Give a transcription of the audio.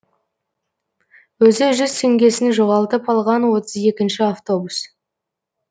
өзі жүз теңгесін жоғалтып алған отыз екінші автобус